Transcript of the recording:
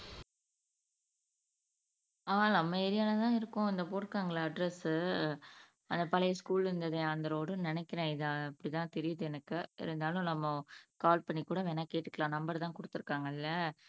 ஆமா நம்ம ஏரியால தான் இருக்கும் இந்தா போட்ருக்காங்க இல்ல அட்ரஸ், அந்த பழைய ஸ்கூல் இருந்துதே அந்த ரோடுன்னு நினைக்கிறேன் இது அப்படி தான் தெரியுது எனக்கு இருந்தாலும் நம்ம கால் பண்ணிகூட கேட்டுக்கலாம் நம்பர் தான் குடுத்துருக்காங்க இல்ல